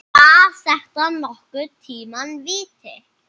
Var þetta nokkurn tíma víti?